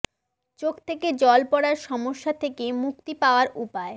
চোখ থেকে জল পড়ার সমস্যা থেকে মুক্তি পাওয়ার উপায়